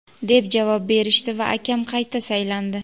deb javob berishdi va akam qayta saylandi.